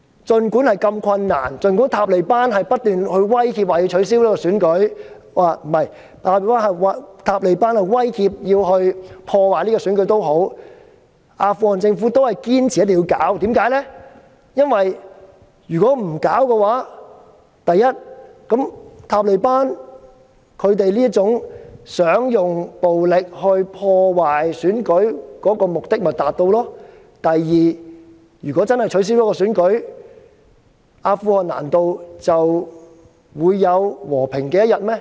儘管過程如此困難，儘管塔利班不斷威脅會破壞選舉，阿富汗政府仍堅持一定要舉行選舉，原因是：第一，如果不舉行選舉，塔利班希望利用暴力破壞選舉的目的便會達成；第二，如果真的取消選舉，難道阿富汗便會有和平的一天嗎？